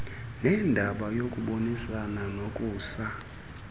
nendaba yokubonisana nokusa